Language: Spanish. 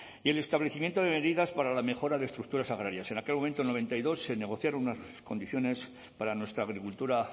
y el establecimiento de medidas para la mejora de estructuras agrarias en aquel momento en el mil novecientos noventa y dos en negociaron unas condiciones para nuestra agricultura